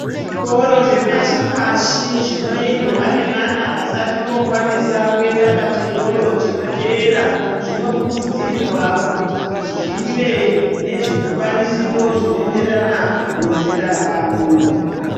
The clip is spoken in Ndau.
Zvikora zvepashi-pashi zvinoendwa nevana vasati vokona kuenda pachikora chinoteera zvinokurudzirwa kuti zvive nezvikwanisiro zvinoenderana nezera rawo.